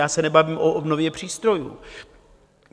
Já se nebavím o obnově přístrojů.